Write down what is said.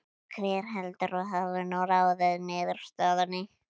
Og hver heldurðu að hafi nú ráðið niðurstöðunni?